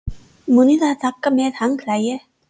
Munið að taka með handklæði!